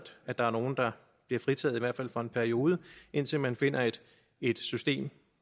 at der er nogle der bliver fritaget i hvert fald for en periode indtil man finder et et system